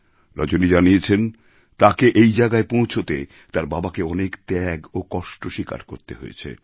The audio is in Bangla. রজনী জানিয়েছে তাকে এই জায়গায় পৌঁছতে তার বাবাকে অনেক ত্যাগ ও কষ্ট স্বীকার করতে হয়েছে